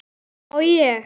má ég!